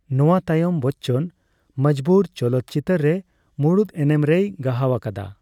ᱱᱚᱣᱟ ᱛᱟᱭᱚᱢ ᱵᱚᱪᱪᱚᱱ 'ᱢᱚᱡᱵᱩᱨ' ᱪᱚᱞᱚᱛᱪᱤᱛᱟᱹᱨ ᱨᱮ ᱢᱩᱲᱩᱫ ᱮᱱᱮᱢ ᱨᱮᱭ ᱜᱟᱦᱟᱣ ᱟᱠᱟᱫᱟ ᱾